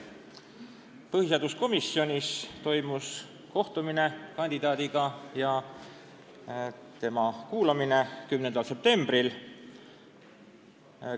Põhiseaduskomisjonis toimus kohtumine kandidaadiga 10. septembril.